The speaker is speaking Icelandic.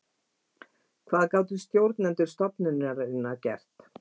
Hvað gátu stjórnendur stofnunarinnar gert?